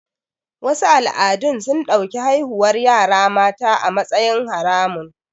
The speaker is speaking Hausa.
Wasu al'adun sun ɗauki haihuwar yara mata a matsayin haramun